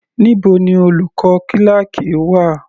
Níbo ni olùkọ́ kíláákì wà?